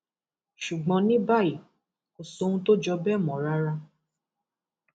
ṣùgbọn ní báyìí kò sóhun tó jọ bẹẹ mọ rárá